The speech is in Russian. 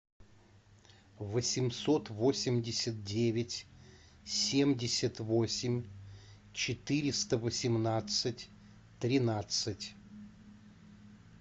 восемьсот восемьдесят девять семьдесят восемь четыреста восемнадцать тринадцать